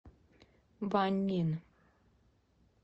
ваньнин